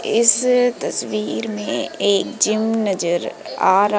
इस तस्वीर में एक जिम नजर आ--